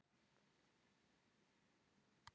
Snjólfur, hvaða stoppistöð er næst mér?